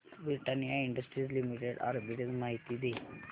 Britannia industries limited arbitrage माहिती दे